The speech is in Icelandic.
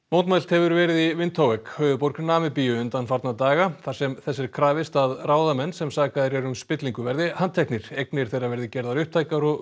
mótmælt hefur verið í Windhoek höfuðborg Namibíu undanfarna daga þar sem þess er krafist að ráðamenn sem sakaðir eru um spillingu verði handteknir eignir þeirra verði gerðar upptækar og